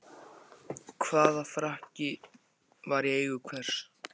Hvaða frakki var í eigu hvers?